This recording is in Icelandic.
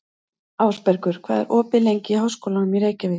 Ásbergur, hvað er opið lengi í Háskólanum í Reykjavík?